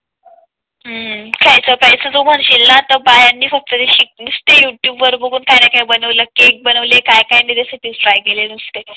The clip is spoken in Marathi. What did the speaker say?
हम्म खायच प्यायचं तू म्हणशील ना तर बायांनी फक्त शिक नुसतं युट्युब वर बघून काही बनवलं केक बनवले काय काय आणि त्यासाठी ट्राय केले नुसते.